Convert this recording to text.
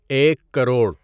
ایک کروڑ